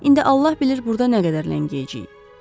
İndi Allah bilir burda nə qədər ləngiyəcəyik.